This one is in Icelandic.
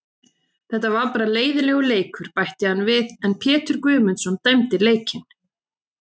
Þetta var bara leiðinlegur leikur, bætti hann við en Pétur Guðmundsson dæmdi leikinn.